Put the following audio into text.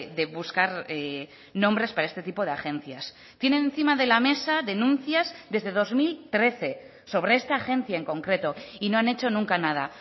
de buscar nombres para este tipo de agencias tiene encima de la mesa denuncias desde dos mil trece sobre esta agencia en concreto y no han hecho nunca nada